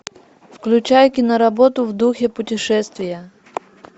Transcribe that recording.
включай киноработу в духе путешествия